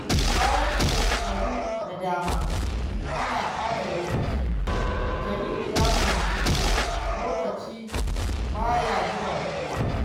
Bayan shekaru da dama ana ɓata lokaci, Jamilu ya fahimci cewa lokaci ba ya jiran kowa.